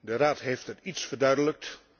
De Raad heeft het iets verduidelijkt.